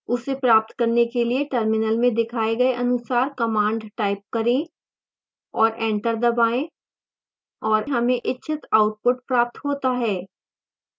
उसे प्राप्त करने के लिए terminal में दिखाए गए अनुसार command type करें और enter दबाएं और हमें इच्छित आउटपुट प्राप्त होता है